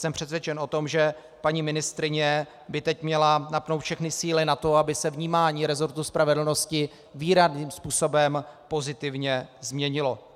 Jsem přesvědčen o tom, že paní ministryně by teď měla napnout všechny síly na to, aby se vnímání resortu spravedlnosti výrazným způsobem pozitivně změnilo.